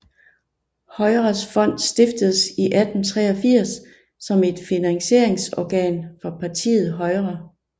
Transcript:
Højres Fond stiftedes i 1883 som et finansieringsorgan for partiet Højre